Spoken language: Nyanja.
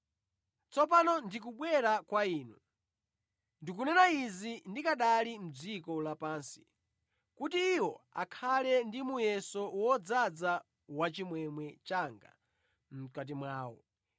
“Tsopano ndikubwera kwa Inu. Ndikunena izi ndikanali mʼdziko lapansi, kuti iwo akhale ndi muyeso wodzaza wachimwemwe changa mʼkati mwawo.